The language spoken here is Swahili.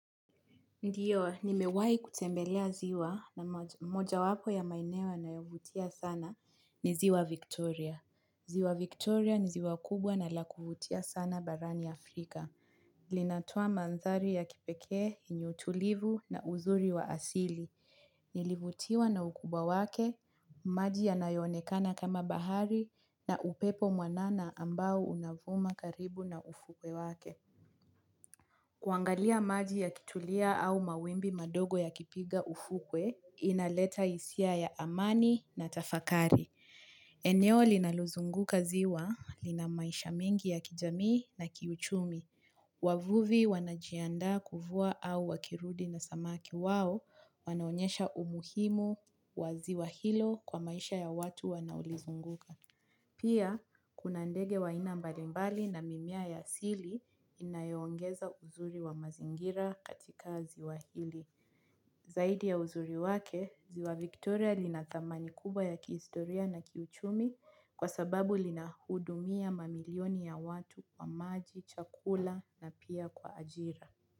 Ndio, nimewahi kutembelea ziwa na mojawapo ya maeneo yanayovutia sana ni ziwa Victoria. Ziwa Victoria ni ziwa kubwa na la kuvutia sana barani Afrika. Linatoa mandhari ya kipekee, yenye utulivu na uzuri wa asili. Nilivutiwa na ukubwa wake, maji yanayoonekana kama bahari na upepo mwanana ambao unavuma karibu na ufuko wake. Kuangalia maji yakitulia au mawimbi madogo yakipiga ufukwe, inaleta hisia ya amani na tafakari. Eneo linalozunguka ziwa lina maisha mengi ya kijamii na kiuchumi. Wavuvi wanajiandaa kuvua au wakirudi na samaki wao wanaonyesha umuhimu wa ziwa hilo kwa maisha ya watu wanaolizunguka. Pia, kuna ndege wa aina mbalimbali na mimea ya asili inayoongeza uzuri wa mazingira katika ziwa hili. Zaidi ya uzuri wake, ziwa Victoria lina thamani kubwa ya kihistoria na kiuchumi kwa sababu linahudumia mamilioni ya watu kwa maji, chakula na pia kwa ajira.